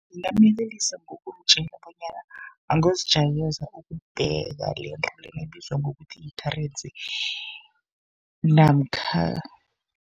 Ngingamyelelisa ngokumtjela bonyana, angozijayeza ukubheka lento lena ebizwa ngokuthi yi-currency namkha.